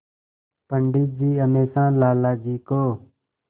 पंडित जी हमेशा लाला जी को